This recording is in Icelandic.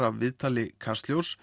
af viðtali Kastljóss